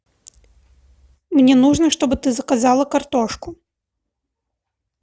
мне нужно чтобы ты заказала картошку